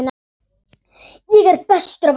Ég er bestur af öllum!